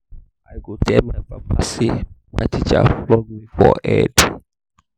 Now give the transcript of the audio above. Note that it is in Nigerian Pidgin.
i go tell my papa say my teacher flog me for head